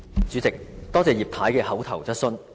主席，多謝葉太的口頭質詢。